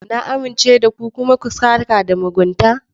Na amince da ku, kuma ku sãka da mugunta.